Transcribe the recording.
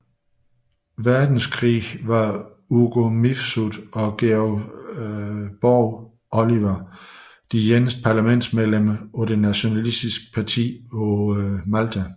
Verdenskrig var Ugo Mifsud og George Borg Olivier de eneste parlamentsmedlemmer for det nationalistiske parti på Malta